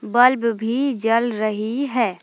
Bulb भी जल रही है।